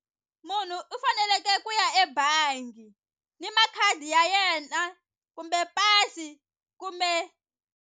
Munhu u faneleke ku ya ebangi ni makhadi ya yena kumbe pasi kumbe.